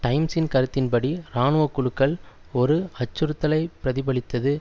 டைம்ஸின் கருத்தின்படி இராணுவக்குழுக்கள் ஒரு அச்சுறுத்தலை பிரதிபலித்தது